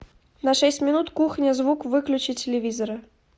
на шесть минут кухня звук выключи телевизора